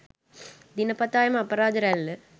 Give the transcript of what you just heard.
දිනපතා එම අපරාධ රැල්ල